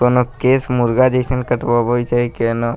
कोनो केश मुर्गा जइसन कटवावे छै केनो --